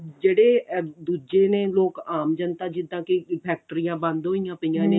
ਜਿਹੜੇ ਦੂਜੇ ਨੇ ਲੋਕ ਆਮ ਜਨਤਾ ਜਿੱਦਾਂ ਕੀ ਫ਼ੈਕਟਰੀਆਂ ਬੰਦ ਹੋਈਆਂ ਪਈਆਂ ਨੇ